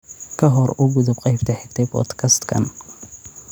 ka hor u gudub qaybta xigta ee podcast-kan